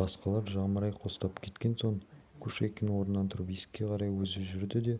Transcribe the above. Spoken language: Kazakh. басқалар жамырай қостап кеткен соң кушекин орнынан тұрып есікке қарай өзі жүрді де